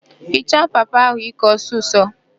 Hichaa papa ahụ íkè ọsịsọ!